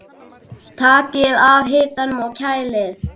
Takið af hitanum og kælið.